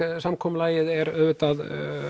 samkomulagið er auðvitað